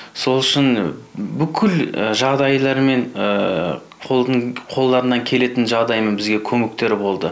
сол үшін бүкіл жағдайларымен қолдарынан келетін жағдайларымен бізге көмектері болды